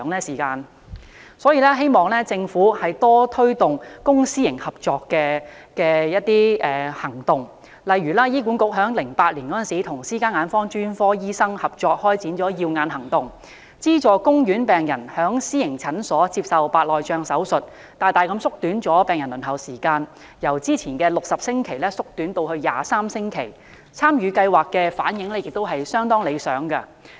有見及此，我希望政府多推動公私營合作，例如醫管局在2008年與私家眼科專科醫生合作開展"耀眼行動"，資助公院病人在私營診所接受白內障手術，大大縮短病人輪候時間，由原先的60星期縮短至23星期，參與計劃的病人反應亦相當理想。